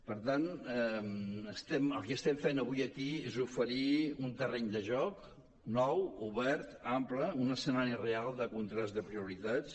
per tant el que estem fent avui aquí és oferir un terreny de joc nou obert ampli un escenari real de contrast de prioritats